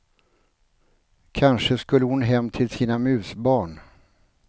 Kanske skulle hon hem till sina musbarn.